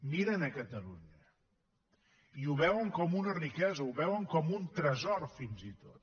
miren a catalunya i ho veuen com a una riquesa ho veuen com a un tresor fins i tot